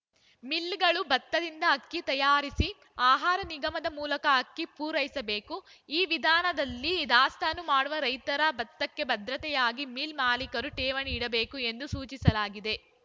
ಮಿಲ್‌ಗಳು ಭತ್ತದಿಂದ ಅಕ್ಕಿ ತಯಾರಿಸಿ ಆಹಾರ ನಿಗಮದ ಮೂಲಕ ಅಕ್ಕಿ ಪೂರೈಸಬೇಕು ಈ ವಿಧಾನದಲ್ಲಿ ದಾಸ್ತಾನು ಮಾಡುವ ರೈತರ ಭತ್ತಕ್ಕೆ ಭದ್ರತೆಯಾಗಿ ಮಿಲ್‌ ಮಾಲಿಕರು ಠೇವಣಿ ಇಡಬೇಕು ಎಂದು ಸೂಚಿಸಲಾಗಿದೆ